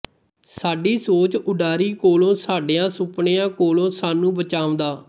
ਸਾਡੀ ਸੋਚ ਉਡਾਰੀ ਕੋਲੋਂ ਸਾਡਿਆਂ ਸੁਪਨਿਆਂ ਕੋਲੋਂ ਸਾਨੂੰ ਬਚਾਵੰਦਾ